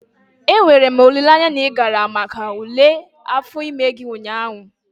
Enwere m olileanya na ị gara maka ule afọ ime gị ụnyaahụ?